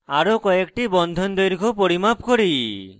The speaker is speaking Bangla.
আরো কয়েকটি bond দৈর্ঘ্য পরিমাপ করি